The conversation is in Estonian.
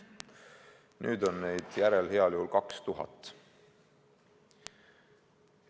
Nüüd on neid järel heal juhul 2000.